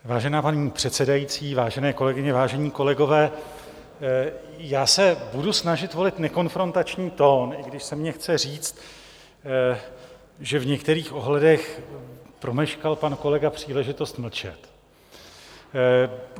Vážená paní předsedající, vážené kolegyně, vážení kolegové, já se budu snažit volit nekonfrontační tón, i když se mně chce říct, že v některých ohledech promeškal pan kolega příležitost mlčet.